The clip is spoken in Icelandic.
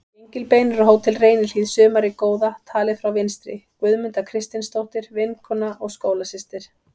Gengilbeinur á Hótel Reynihlíð sumarið góða, talið frá vinstri: Guðmunda Kristinsdóttir, vinkona og skólasystir